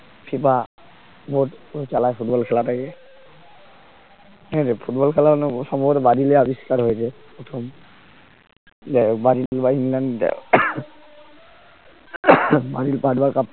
FIFAboard চালায় football খেলাটাকে ঠিক আছে ফুটবল খেলা সম্ভবত ব্রাজিলে আবিষ্কার হয়েছে প্রথম যে ব্রাজিল বা ইংল্যান্ডে পাঁচ বার cup